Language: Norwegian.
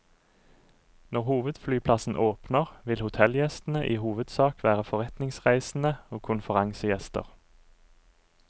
Når hovedflyplassen åpner, vil hotellgjestene i hovedsak være forretningsreisende og konferansegjester.